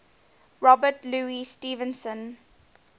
robert louis stevenson